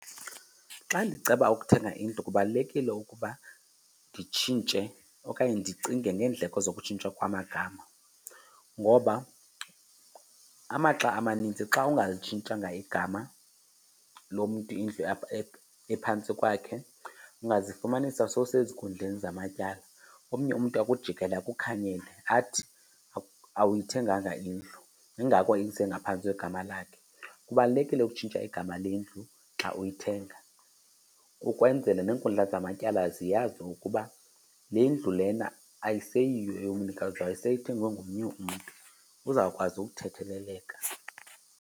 Xa ndiceba ukuthenga indlu kubalulekile ukuba nditshintshe okanye ndicinge ngeendleko zokutshintshwa kwamagama, ngoba amaxa amaninzi xa ungalitshintshanga igama loo mntu indlu ephantsi kwakhe ungazifumanisa sowusezinkundleni zamatyala. Omnye umntu akujikele akukhanyele athi awuyithenganga indlu yingako isengaphantsi kwegama lakhe. Kubalulekile ukutshintsha igama lendlu xa uyithenga ukwenzela neenkundla zamatyala ziyazi ukuba le ndlu lena ayiseyiyo eyomnikazi wayo seyithengwe ngomnye umntu, uzawukwazi ukuthetheleleka.